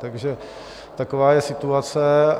Takže taková je situace.